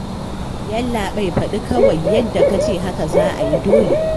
Yallaɓai faɗi kawai, yadda ka ce haka za a yi dole